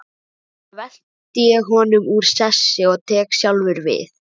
Núna velti ég honum úr sessi og tek sjálfur við.